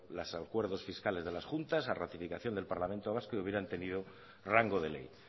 los acuerdos fiscales de las juntas a ratificación del parlamento vasco y hubieron tenido rango de ley